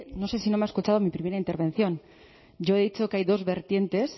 no sé si no me ha escuchado mi primera intervención yo he dicho que hay dos vertientes